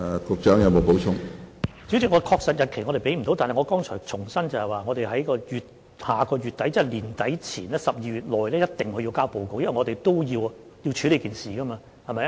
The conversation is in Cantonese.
主席，我們無法提供確實日期，但我剛才已經重申，在下月底，即年底，在12月內必須提交報告，因為我們也須處理這件事。